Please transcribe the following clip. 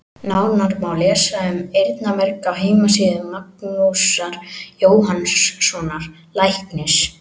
Nánar má lesa um eyrnamerg á heimasíðu Magnúsar Jóhannssonar læknis.